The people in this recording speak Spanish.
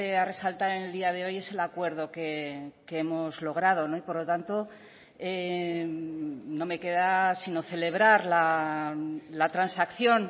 a resaltar en el día de hoy es el acuerdo que hemos logrado y por lo tanto no me queda sino celebrar la transacción